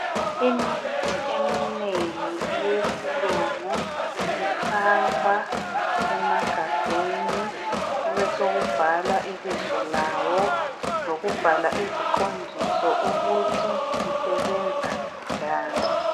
Imithi eminengi eyesilungu ifakwa emagabheni kube sekubhalwa ibizo lawo , leziqondiso ukuthi isebenza njani.